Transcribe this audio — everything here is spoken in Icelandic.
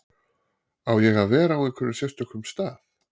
Á ég að vera á einhverjum sérstökum stað?